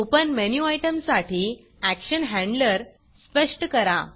open menu आयटमसाठी action handler स्पष्ट करा